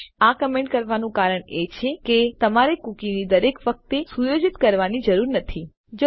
પરંતુ આ કમેન્ટ કરવાનું કારણ એ છે કે તમારે કૂકીને દર વખતે સુયોજિત કરવાની જરૂર નથી જયારે વપરાશકર્તા પેજ ઉપર આવે છે